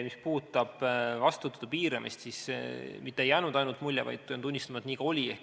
Mis puudutab vastuvõttude piiramist, siis mitte ei jäänud ainult mulje, vaid pean tunnistama, et nii ka oli.